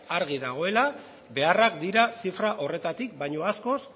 argi dagoela beharrak dira zifra horretatik baino askoz